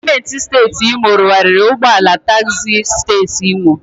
Gọọmenti siteeti Imo rụarịrị ụgbọala tagzi siteeti Imo.